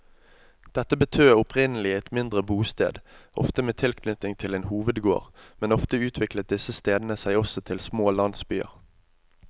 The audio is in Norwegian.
Dette betød opprinnelig et mindre bosted, ofte med tilknytning til en hovedgård, men ofte utviklet disse stedene seg også til små landsbyer.